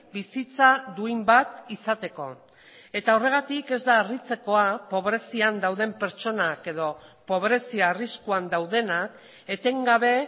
bizitza duin bat izateko eta horregatik ez da harritzekoa pobrezian dauden pertsonak edo pobrezia arriskuan daudenak etengabe